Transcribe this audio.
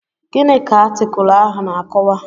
Gịnị ka atịkulụ ahụ na-akọwa?